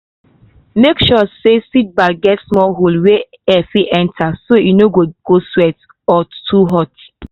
make sure say seed bag get small hole wey air fit pass so e no go sweat or too hot.